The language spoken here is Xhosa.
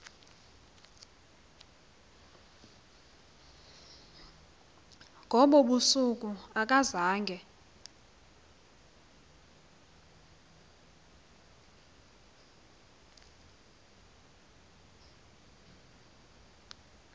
ngobo busuku akazange